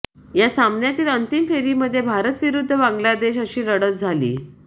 या सामन्यातील अंतिम फेरीमध्ये भारत विरुद्ध बांग्लादेश अशी लढत झाली